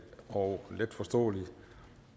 og letforståelig